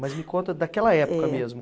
Mas me conta daquela época mesmo.